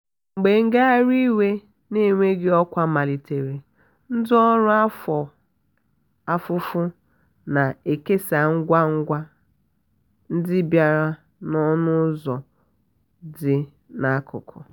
mgbe ngagharị iwe na-enweghị ọkwa malitere ndị ọrụ afọ ofufo na-ekesa ngwa ngwa ngwa ndị bịara n'ọnụ ụzọ dị n'akụkụ.